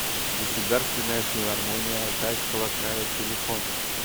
государственная филармония алтайского края телефон